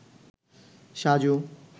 Saju